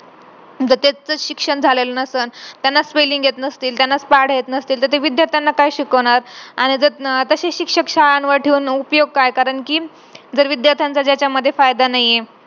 आपल्या घरचे सगळे pressure टाकू नये पोरांवरती हा धरधर असायला पाहिजे पण एवढा पण नको की ते चुकीचे पाऊल उचलतील.